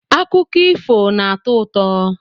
Akụkọ ifo na-atọ ụtọ.